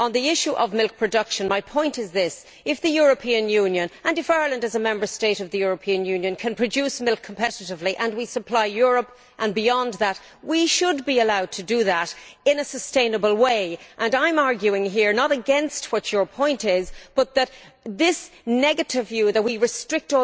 On the issue of milk production, my point is this if the European Union, and Ireland as a Member State of the European Union, can produce milk competitively and we supply Europe and beyond we should be allowed to do that in a sustainable way. I am arguing here not against your point, but against this negative view that we restrict